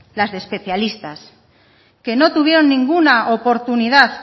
las de especialistas que no tuvieron ninguna oportunidad